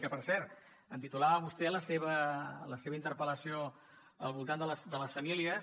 que per cert titulava vostè la seva la seva interpel·lació al voltant de les famílies